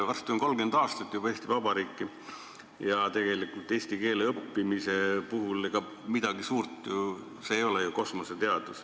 Varsti on 30 aastat juba olnud Eesti Vabariiki ja tegelikult eesti keele õppimine pole midagi suurt, see ei ole kosmoseteadus.